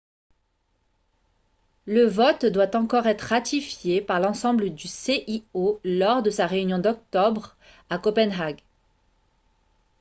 le vote doit encore être ratifié par l'ensemble du cio lors de sa réunion d'octobre à copenhague